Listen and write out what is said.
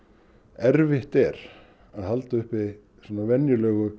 erfitt er að halda uppi venjulegri